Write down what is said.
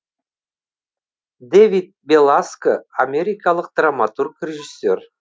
дэвид беласко америкалық драматург режиссер